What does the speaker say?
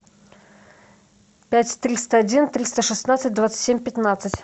пять триста один триста шестнадцать двадцать семь пятнадцать